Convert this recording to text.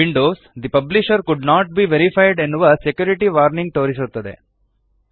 Windows the publisher could not be verified ಎನ್ನುವ security warning ತೋರಿಸುತ್ತದೆ